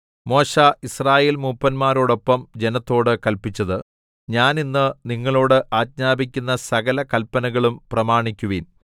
മോശെ യിസ്രായേൽമൂപ്പന്മാരോടൊപ്പം ജനത്തോടു കല്പിച്ചത് ഞാൻ ഇന്ന് നിങ്ങളോട് ആജ്ഞാപിക്കുന്ന സകല കല്പനകളും പ്രമാണിക്കുവിൻ